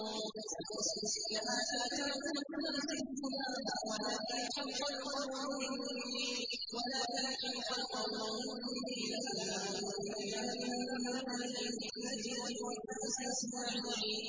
وَلَوْ شِئْنَا لَآتَيْنَا كُلَّ نَفْسٍ هُدَاهَا وَلَٰكِنْ حَقَّ الْقَوْلُ مِنِّي لَأَمْلَأَنَّ جَهَنَّمَ مِنَ الْجِنَّةِ وَالنَّاسِ أَجْمَعِينَ